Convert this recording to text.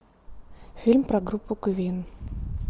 фильм про группу квин